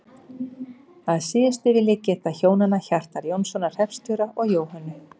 Að síðustu vil ég geta hjónanna Hjartar Jónssonar hreppstjóra og Jóhönnu